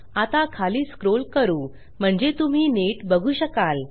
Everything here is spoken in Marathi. आता खाली स्क्रोल करू म्हणजे तुम्ही नीट बघू शकाल